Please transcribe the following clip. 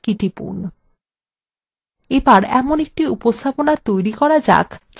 উপস্থাপনা থেকে প্রস্থান করার জন্য escape key টিপুন